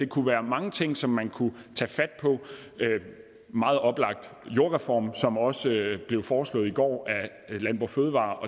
kunne være mange ting som man kunne tage fat på meget oplagt er jordreformen som også blev foreslået i går af landbrug fødevarer